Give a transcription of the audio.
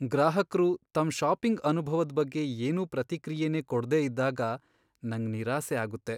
ಗ್ರಾಹಕ್ರು ತಮ್ ಷಾಪಿಂಗ್ ಅನುಭವದ್ ಬಗ್ಗೆ ಏನೂ ಪ್ರತಿಕ್ರಿಯೆನೇ ಕೊಡ್ದೇ ಇದ್ದಾಗ ನಂಗ್ ನಿರಾಸೆ ಆಗುತ್ತೆ.